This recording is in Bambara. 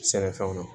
Sɛnɛfɛnw na